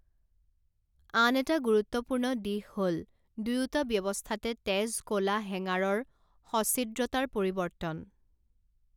আন এটা গুৰুত্বপূৰ্ণ দিশ হ'ল দুয়োটা ব্যৱস্থাতে তেজ কলা হেঙাৰৰ সছিদ্ৰতাৰ পৰিৱৰ্তন।